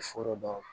Foro ban